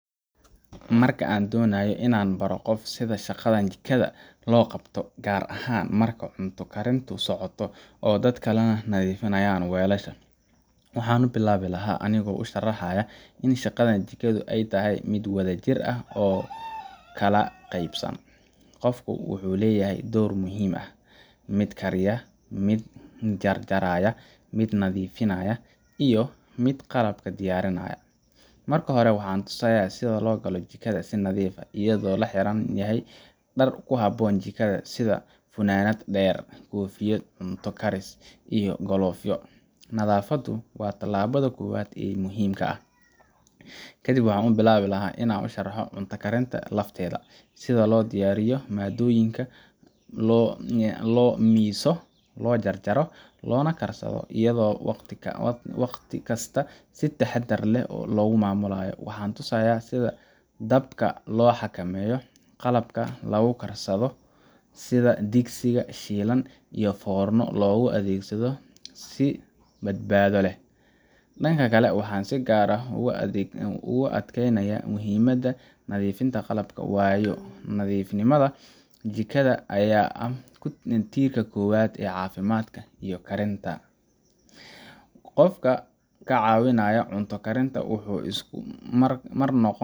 Marka aan doonayo in aan baro qof sida shaqada jikada loo qabto, gaar ahaan marka cunto karintu socoto oo dad kalena nadiifinayaan weelasha, waxaan bilaabi lahaa anigoo u sharxaya in shaqada jikadu ay tahay mid wadajir ah oo kala qaybsan. Qof walba wuxuu leeyahay door muhiim ah mid karaya, mid jarjaraya, mid nadiifinaya, iyo mid qalab diyaarinaya. Marka hore, waxaan tusayaa sida loo galo jikada si nadiif ah, iyadoo la xiran yahay dhar ku habboon jikada sida funaanad dheer, koofiyad cunto karis, iyo galoofyo. Nadaafaddu waa tallaabada koowaad ee muhiimka ah. Kadib waxaan bilaabi lahaa inaan u sharxo cunto karinta lafteeda sida loo diyaariyo maaddooyinka, loo miiso, loo jarjaro, loona karsado iyadoo waqti kasta si taxaddar leh loo maamulayo. Waxaan tusayaa sida dabka loo xakameeyo, qalabka lagu karsanayo sida digsi, shiilan, iyo foorno loogu adeegto si badbaado leh. Dhanka kale, waxaan si gaar ah ugu adkaynayaa muhiimada nadiifinta qalabka waayo, nadiifnimada jikada ayaa ah tiirka koowaad ee caafimaadka iyo karinta . Qofka ka caawinaya cunto karinta wuxuu isku mar